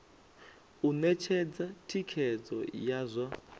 u ṅetshedza thikhedzo ya zwa